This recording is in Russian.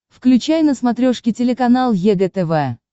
включай на смотрешке телеканал егэ тв